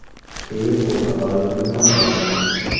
Keyin bu xatoyimni tan oldim.